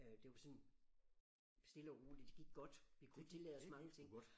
Øh det var sådan stille og roligt det gik godt vi kunne tillade os mange ting